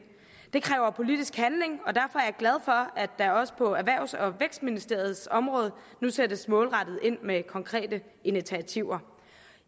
det kræver politisk handling og at der også på erhvervs og vækstministeriets område nu sættes målrettet ind med konkrete initiativer